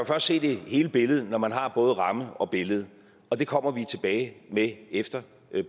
først se hele billedet når man har både ramme og billede og det kommer vi tilbage med efter